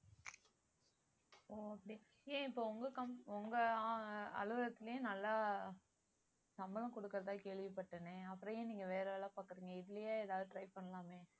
okay ஏன் இப்போ உங்க com~ உங்க ஆஹ் அலுவலகத்திலேயே நல்லா சம்பளம் கொடுக்கிறதா கேள்விப்பட்டேனே அப்புறம் ஏன் நீங்க வேற வேலை பாக்குறீங்க இதுலயே ஏதாவது try பண்ணலாமே